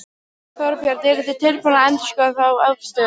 Þorbjörn: Eruð þið tilbúnir að endurskoða þá afstöðu?